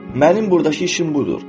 mənim burdakı işim budur.